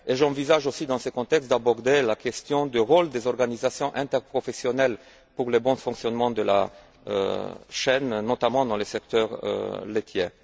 J'envisage aussi dans ce contexte d'aborder la question du rôle des organisations interprofessionnelles pour le bon fonctionnement de la chaîne, notamment dans le secteur laitier.